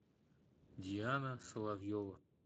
диана соловьева